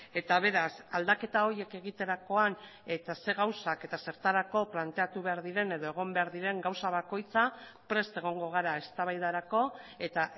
eta beraz aldaketa horiek egiterakoan eta zer gauzak eta zertarako planteatu behar diren edo egon behar diren gauza bakoitza prest egongo gara eztabaidarako eta